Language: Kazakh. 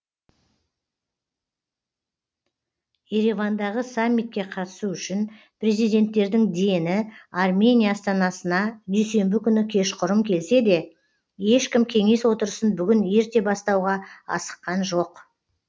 еревандағы саммитке қатысу үшін президенттердің дені армения астанасына дүйсенбі күні кешқұрым келсе де ешкім кеңес отырысын бүгін ерте бастауға асыққан жоқ